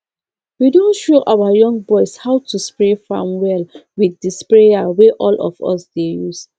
we don show our young boys how to spray farm well with the sprayer wey all of us dey use